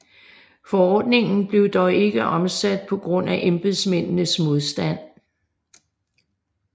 Forordningen blev dog ikke omsat på grund af embedsmændenes modstand